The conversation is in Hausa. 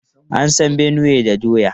An san Benue da doya.